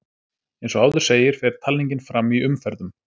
Eins og áður segir fer talningin fram í umferðum.